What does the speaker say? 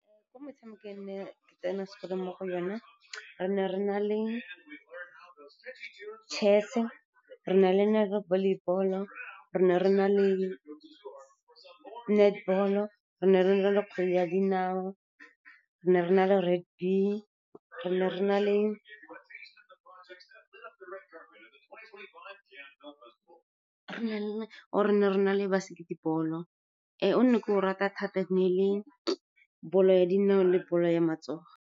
Ko motshamekong e ne ke tsena sekolo mo go yone, re ne re na le chess-e, re ne re na le volleyball-o, re ne re na le netball-o, re ne re na le kgwele ya dinao, re ne re na le rugby, re ne re na le basketball. O ne ke o rata thata, ne e le bolo ya dinao le bolo ya matsogo.